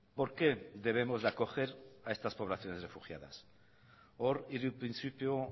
por qué debemos de acoger a estas poblaciones refugiadas hor hiru printzipio